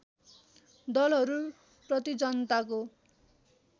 दलहरू प्रति जनताको